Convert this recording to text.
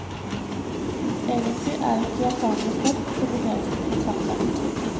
Egentlig er ikke japanere flest så begeistret for kaffe.